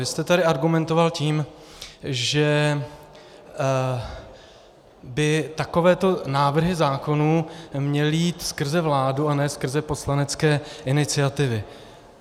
Vy jste tady argumentoval tím, že by takovéto návrhy zákonů měly jít skrze vládu a ne skrze poslanecké iniciativy.